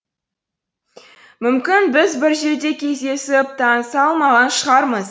мүмкін біз бір жерде кездесіп таныса алмаған шығармыз